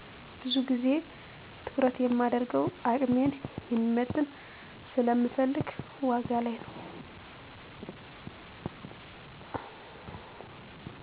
ብዙ ግዜ ትኩረት የማደርገው አቅሜን የሚመጥን ስለምፈልግ ዋጋ ላይ ነው።